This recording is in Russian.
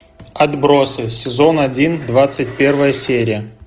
отбросы сезон один двадцать первая серия